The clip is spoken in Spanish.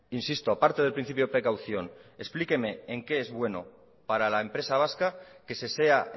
insisto aparte del principio de precaución explíqueme en qué es bueno para la empresa vasca que se sea